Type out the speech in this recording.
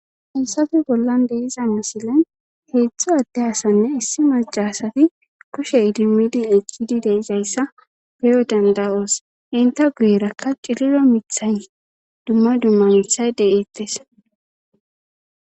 ensafi bollan deiza misilen heetzdtho adde asanne issi macasati kushe idimmidin ekkidi deizayssa peyo danda7oos inta guyerakka ciriro mithay dumma dumma mithay deyeettes